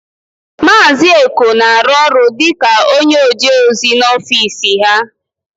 Maazị Eko na-arụ ọrụ dịka onyeojeozi n'ofiisi ha.